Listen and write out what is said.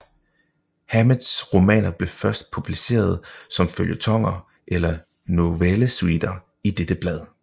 Hammetts romaner blev først publicerede som føljetoner eller novellesuiter i dette blad